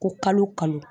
Ko kalo kalo